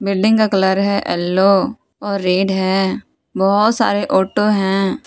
Building का colour है yellow और रेड है बहुत सारे ऑटो हैं।